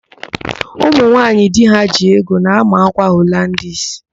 Ụmụnwaaanyị di ha ji ego na-ámà ákwà Holandis.